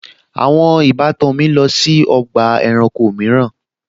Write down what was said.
Àwọn ìbátan mi máa lọ sí ọgbà ẹranko mìíràn